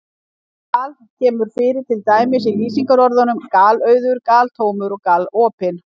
Gal- kemur fyrir til dæmis í lýsingarorðunum galauður, galtómur og galopinn.